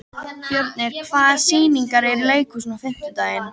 Fjörnir, hvaða sýningar eru í leikhúsinu á fimmtudaginn?